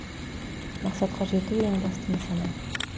мақсатқа жету ең басты нысана